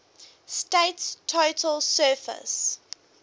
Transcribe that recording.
state's total surface